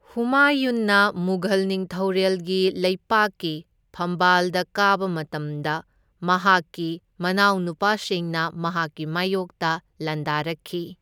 ꯍꯨꯃꯥꯌꯨꯟꯅ ꯃꯨꯘꯜ ꯅꯤꯡꯊꯧꯔꯦꯜꯒꯤ ꯂꯩꯄꯥꯛꯀꯤ ꯐꯝꯕꯥꯜꯗ ꯀꯥꯕ ꯃꯇꯝꯗ ꯃꯍꯥꯛꯀꯤ ꯃꯅꯥꯎꯅꯨꯄꯥꯁꯤꯡꯅ ꯃꯍꯥꯛꯀꯤ ꯃꯥꯢꯌꯣꯛꯇ ꯂꯥꯟꯗꯥꯔꯛꯈꯤ꯫